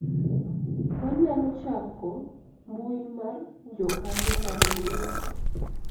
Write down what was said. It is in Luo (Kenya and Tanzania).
wanyalo chako mbui mar jokanyo mar riwruok